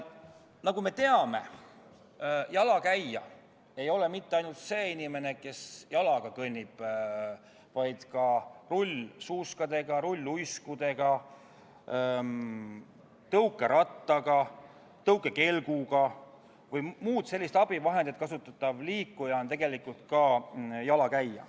Nagu me teame, ei ole jalakäija mitte ainult see inimene, kes kõnnib, vaid ka rullsuuski, rulluiske, tõukeratast, tõukekelku või muud sellist abivahendit kasutav liikuja on tegelikult jalakäija.